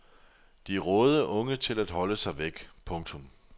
De rådede unge til at holde sig væk. punktum